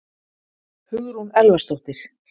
Hugrún Elvarsdóttir